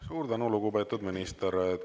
Suur tänu, lugupeetud minister!